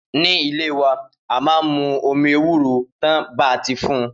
Ni ìlé wà a mà ń mú omi ewuro tan bà ti fùn